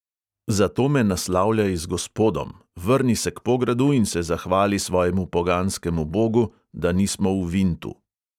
Zato me naslavljaj z gospodom, vrni se k pogradu in se zahvali svojemu poganskemu bogu, da nismo v vintu.